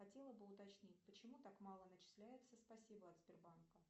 хотела бы уточнить почему так мало начисляется спасибо от сбербанка